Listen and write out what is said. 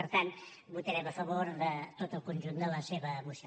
per tant votarem a favor de tot el conjunt de la seva moció